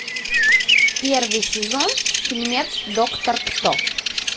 первый сезон фильмец доктор кто